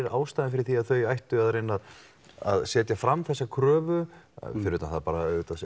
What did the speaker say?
ástæðan fyrir því að þau ættu að reyna setja fram þessa kröfu fyrir utan að auðvitað